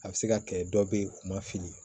A bɛ se ka kɛ dɔ bɛ yen u ma fili